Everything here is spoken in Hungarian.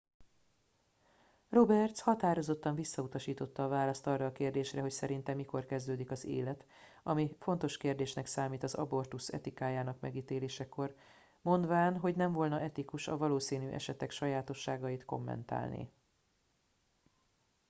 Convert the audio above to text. roberts határozottan visszautasította a választ arra a kérdésre hogy szerinte mikor kezdődik az élet ami fontos kérdésnek számít az abortusz etikájának megítélésekor mondván hogy nem volna etikus a valószínű esetek sajátosságait kommentálni